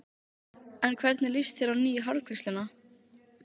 En hvernig líst þér á nýju hárgreiðsluna?